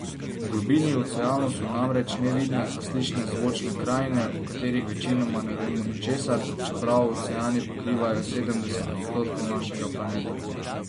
V globini oceanov so namreč nevidne, a slišne zvočne krajine, o katerih večinoma ne vemo ničesar, čeprav oceani pokrivajo sedemdeset odstotkov našega planeta.